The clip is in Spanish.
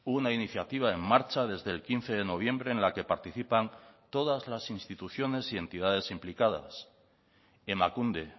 una iniciativa en marcha desde el quince de noviembre en la que participan todas las instituciones y entidades implicadas emakunde